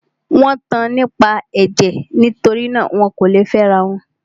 Wọ́n tan nípa ẹ̀jẹ̀; nitori náà, wọn kò lè fẹ́ ara wọn.